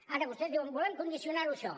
ara vostès diuen volem condicionar ho a això